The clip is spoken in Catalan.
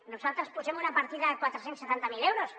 nosaltres hi posem una partida de quatre cents i setanta miler euros